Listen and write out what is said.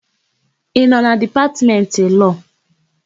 Ị nọ na Dipatmentị Lọọ?